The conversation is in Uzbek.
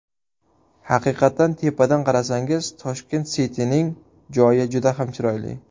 Haqiqatan tepadan qarasangiz, Tashkent City’ning joyi juda ham chiroyli.